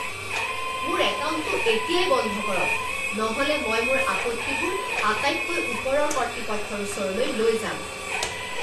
মোৰ একাউণ্টটো এতিয়াই বন্ধ কৰক, নহ'লে মই মোৰ আপত্তিবোৰ আটাইতকৈ ওপৰৰ কৰ্তৃপক্ষৰ ওচৰলৈ লৈ যাম।